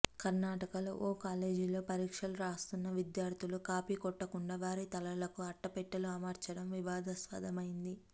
కర్నాటకలో ఓ కాలేజీలో పరీక్షలు రాస్తున్న విద్యార్థులు కాపీ కొట్టకుండా వారి తలలకు అట్టపెట్టెలు అమర్చడం వివాదాస్పదమైంది